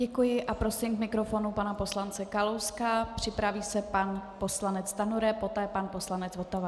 Děkuji a prosím k mikrofonu pana poslance Kalouska, připraví se pan poslanec Stanjura, poté pan poslanec Votava.